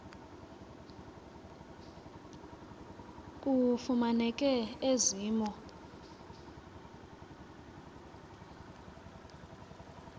kufumaneke ezi mo